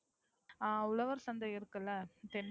அஹ் உழவர் சந்தை இருக்குல்ல